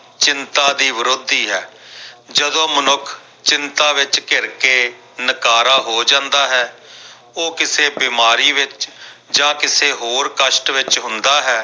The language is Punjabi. ਚਿੰਤਾ ਦੀ ਵਿਰੋਧੀ ਹੈ ਜਦੋਂ ਮਨੁੱਖ ਚਿੰਤਾ ਵਿੱਚ ਘਿਰ ਕੇ ਨਕਾਰਾ ਹੋ ਜਾਂਦਾ ਹੈ ਉਹ ਕਿਸੇ ਬਿਮਾਰੀ ਵਿੱਚ ਜਾਂ ਕਿਸੇ ਹੋਰ ਕਸ਼ਟ ਵਿੱਚ ਹੁੰਦਾ ਹੈ।